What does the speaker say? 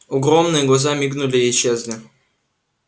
огромные глаза мигнули исчезли